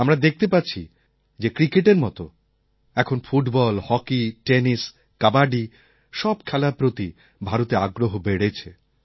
আমরা দেখতে পাচ্ছি যে ক্রিকেটের মত এখন ফুটবল হকি টেনিস কাবাডি সব খেলার প্রতি ভারতে আগ্রহ বেড়েছে